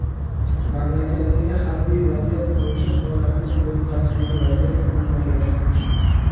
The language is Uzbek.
Mamlakatdagi harbiy vaziyat bo‘yicha holatni Donbassdagi vaziyat bilan bog‘lash mumkin.